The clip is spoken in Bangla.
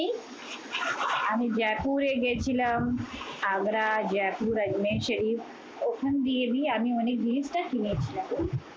আমি জয়পুরে গিয়েছিলাম। আগ্রা, জয়পুর, আজমীর শরীফ ওখান দিয়ে দিয়ে আমি অনেক জিনিসটা কিনেছি।